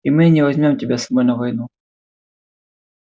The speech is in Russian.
и мы не возьмём тебя с собой на войну